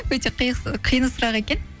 өте қиын сұрақ екен